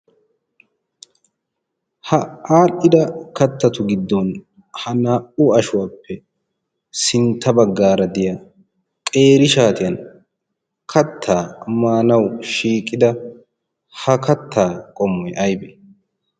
Ha adhdhida kattatu giddon ha naa'u ashuwaappe sintta baggaara de'iya qeeri shaatiyan kattaa maanawu shiiqida ha kattaa qommoy aybe?